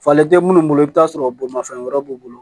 Falen tɛ munnu bolo i bɛ taa sɔrɔ bolimafɛn wɛrɛ b'u bolo